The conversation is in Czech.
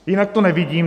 Jinak to nevidím.